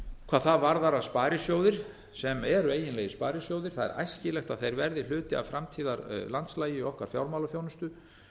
hvað það varðar að sparisjóðir sem eru eiginlegir sparisjóðir það er æskilegt að þeir verði hluti af framtíðarlandslagi í okkar fjármálaþjónustu